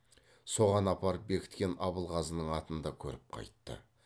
соған апарып бекіткен абылғазының атын да көріп қайтты